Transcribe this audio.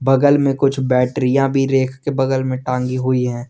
बगल में कुछ बैटरियां भी रैक के बगल में टांगी हुई है।